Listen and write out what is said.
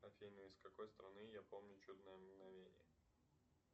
афина из какой страны я помню чудное мгновение